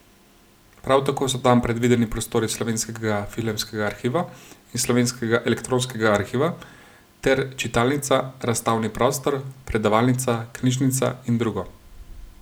Prav tako so tam predvideni prostori Slovenskega filmskega arhiva in Slovenskega elektronskega arhiva, ter čitalnica, razstavni prostor, predavalnica, knjižnica in drugo.